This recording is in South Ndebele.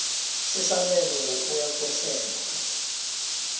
sesabelo ngokuya kwehlelo